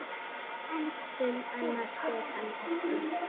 Um annað spyr hann ekki.